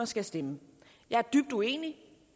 skal stemme jeg er dybt uenig